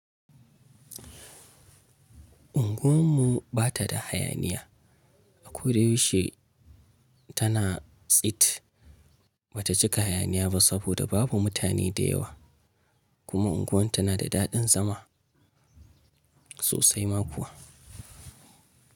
Unguwar mu ba ta da hayaniya. A koda yaushe tana tsit ba ta cika hayaniya ba saboda babu mutane da yawa. Kuma unguwar tana da daɗin zama sosai ma kuwa.